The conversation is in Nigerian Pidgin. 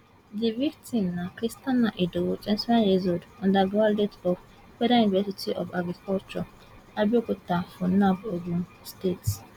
di victim na christiana idowu twenty one years old undergraduate of federal university of agriculture abeokuta funaab ogun state